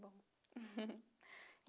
bom.